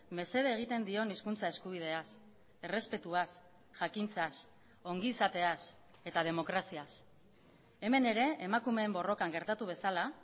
mesede egiten dion hizkuntza eskubideaz errespetuaz jakintzaz ongizateaz eta demokraziaz hemen ere emakumeen borrokan gertatu bezala